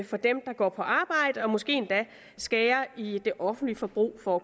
for dem der går på arbejde og måske endda skære i det offentlige forbrug for